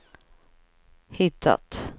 hittat